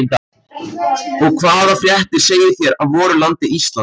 Og hvaða fréttir segið þér af voru landi Íslandi?